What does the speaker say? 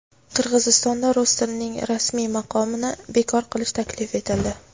Qirg‘izistonda rus tilining rasmiy maqomini bekor qilish taklif etildi.